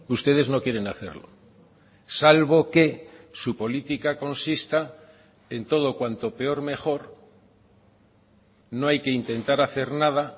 ustedes no quieren hacerlo salvo que su política consista en todo cuanto peor mejor no hay que intentar hacer nada